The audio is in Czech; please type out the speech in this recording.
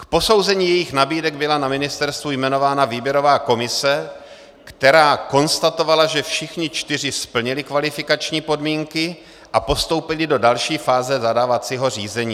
K posouzení jejich nabídek byla na ministerstvu jmenována výběrová komise, která konstatovala, že všichni čtyři splnili kvalifikační podmínky a postoupili do další fáze zadávacího řízení.